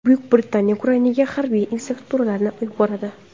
Buyuk Britaniya Ukrainaga harbiy instruktorlarni yuboradi.